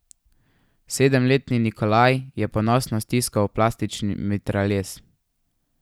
Sedemletni Nikolaj je ponosno stiskal plastični mitraljez.